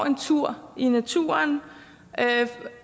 en tur i naturen